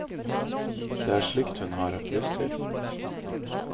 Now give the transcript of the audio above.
Det er slikt hun har lyst til.